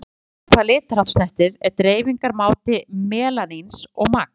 Það sem skiptir sköpum hvað litarhátt snertir er dreifingarmáti melaníns og magn.